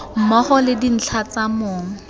mmogo le dintlha tsa mong